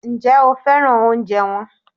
Ǹjẹ́ o féràn oúnjẹ wọn?